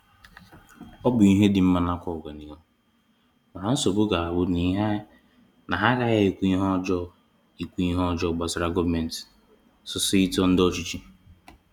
Ọ bụ ihe dị mma nakwa oganihu, mana nsogbu ga-abụ na ha aghahi ikwu ihe ọjọọ ikwu ihe ọjọọ gbasara gọọmenti, sọsọ ito ndị ọchịchị